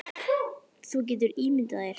Þú getur ímyndað þér.